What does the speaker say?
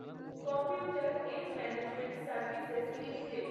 computer age management services limited